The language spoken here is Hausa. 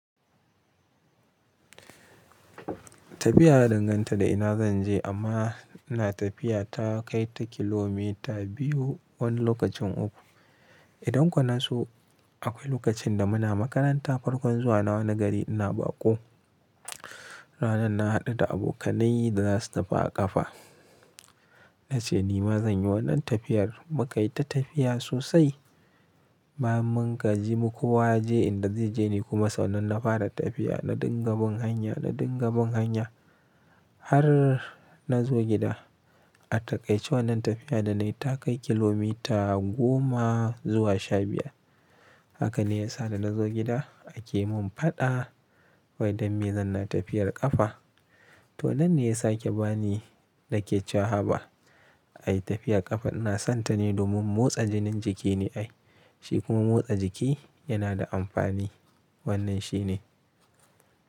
Tafiya na danganta da ina zan je amma ina tafiya ta kai ta kilomita biyu wani lokacin uku. Idan kuwa na so akwai lokacin da muna makaranta farkon zuwa na wani gari ina baƙo. Ranar na haɗu da abokanai da za su tafi a ƙafa, na ce ni ma zan yi wannan tafiyar mu ka yi ta tafiya sosai ba mun gaji mu kuwa je inda zai je ni kuma. Sannan na fara tafiya na dinga bin hanya, na dinga bin hanya har na zo gida. Atakai wannan tafiya da na yi ta kai kilomita goma zuwa sha biyar. Haka ne ya sa da na zo gida a ke mun faɗa wai dan me zan na tafiyar ƙafa. To wannan ne ya sake ba ni na ke wa haba Ai tafiya ƙafa ina son ta ne domin motsa jinin jiki ne ai shi kuma motsa jiki yana da amfani. Wannan shi ne.